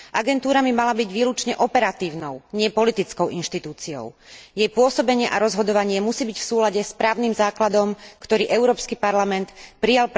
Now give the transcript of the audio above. Agentúra by mala byť výlučne operatívnou, nie politickou inštitúciou. Jej pôsobenie a rozhodovanie musí byť v súlade s právnym základom, ktorý Európsky parlament prijal pre jednotlivé tri databázy.